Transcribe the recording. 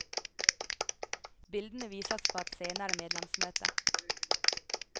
Bildene vises på et senere medlemsmøte.